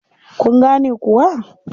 Kun gane kuwa?